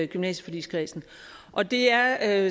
gymnasieforligskredsen og det er